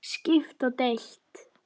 Skipt og deilt